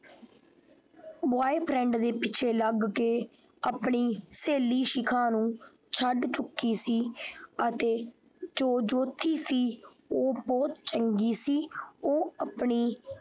Boyfriend ਦੇ ਪਿੱਛੇ ਲੱਗ ਕੇ ਆਪਣੀ ਸਹੇਲੀ ਸ਼ਿਖਾ ਨੂੰ ਛੱਡ ਚੁੱਕੀ ਸੀ ਅਤੇ ਜੋ ਜੋਤੀ ਸੀ ਉਹ ਬਹੁਤ ਚੰਗੀ ਸੀ।